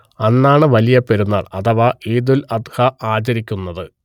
അന്നാണ് വലിയ പെരുന്നാൾ അഥവാ ഈദുൽ അദ്ഹ ആചരിയ്ക്കുന്നത്